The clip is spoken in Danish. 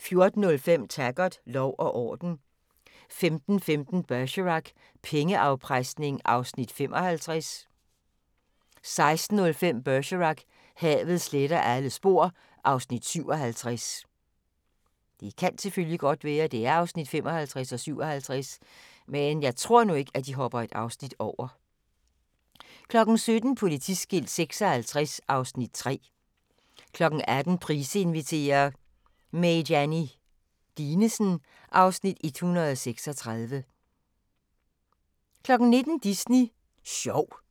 14:05: Taggart: Lov og orden 15:15: Bergerac: Pengeafpresning (Afs. 55) 16:05: Bergerac: Havet sletter alle spor (Afs. 57) 17:00: Politiskilt 56 (Afs. 3) 18:00: Price inviterer – Mayianne Dinesen (Afs. 136) 19:00: Disney Sjov